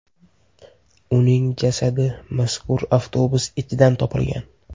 Uning jasadi mazkur avtobus ichidan topilgan.